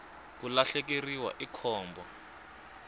ku lahlekeriwa i khombo